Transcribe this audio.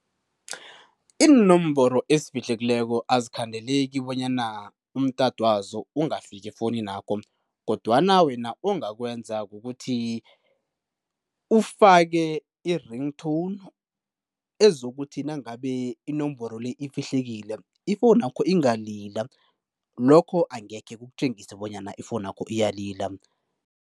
Iinomboro ezifihlekileko azikhandeleki bonyana umtato wazo ungafika efowunini yakho, kodwana wena ongakwenza kukuthi ufake i-ring tone ezokuthi nangabe inomboro le ifihlekile ifowunu yakho ingalila, lokho angekhe kukutjengise bonyana ifowunu yakho iyalila.